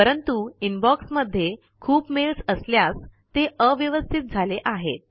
परंतु इनबॉक्स मध्ये खूप मेल्स असल्यास ते अव्यवस्थित झाले आहेत